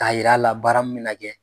K'a yira a la baara min bɛ na kɛ.